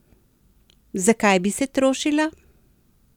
Zakaj bi se trošila?